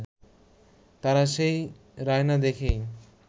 তারা সেই রায় না দেখেই